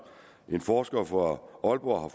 en forsker fra aalborg